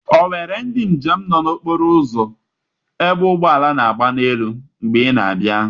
Onwere ndị njem nọ n'okpuru okporo ụzọ ebe ụgbọala na-agba n'elu mgbe ị na-abịa?